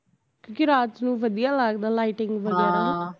ਕਿਉਕਿ ਰਾਤ ਨੂੰ ਵਧੀਆ ਲਗਦਾ lighting ਬਗੈਰਾ